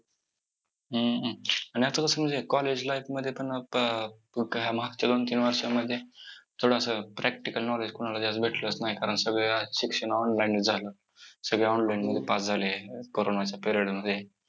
हम्म हम्म आणि आता कसं म्हणजे college life मध्ये पण आता~ काय मागच्या दोन-तीन वर्षामध्ये थोडं असं practical knowledge कोणाला जास्त भेटलंच नाही कारण सगळं शिक्षण online च झालं. सगळे online मध्ये pass झालेत corona च्या period मध्ये!